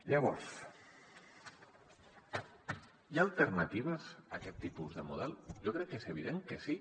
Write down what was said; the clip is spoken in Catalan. llavors hi ha alternatives a aquest tipus de model jo crec que és evident que sí